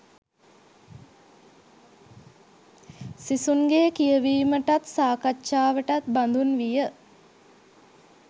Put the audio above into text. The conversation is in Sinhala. සිසුන්ගේ කියවීමටත් සාකච්ඡාවටත් බඳුන් විය